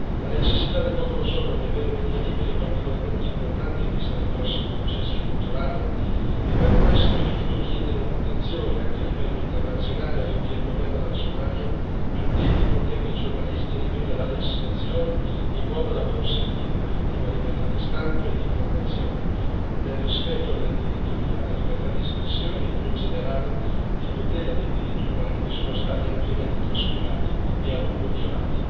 La necessità del popolo somalo di avere media liberi è particolarmente importante in vista del prossimo processo elettorale e per questo è giusto chiedere un'attenzione, anche a livello internazionale, affinché il governo della Somalia tuteli e protegga i giornalisti e riveda la legislazione in modo da consentire un'effettiva libertà di stampa e di informazione, nel rispetto del diritto alla libertà di espressione e più in generale di tutela dei diritti umani che sono stati ampiamente trascurati e a lungo violati.